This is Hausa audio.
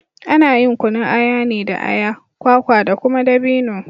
Ana yin kunun aya ne da aya, kwaka da kuma dabino.